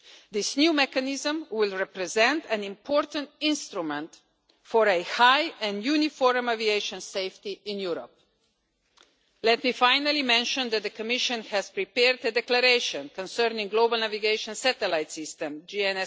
This new mechanism will represent an important instrument for a high and uniform aviation safety in Europe. Let me finally mention that the Commission has prepared a declaration concerning the Global Navigation Satellite System as previously announced during the negotiations.